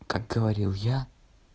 как говорил я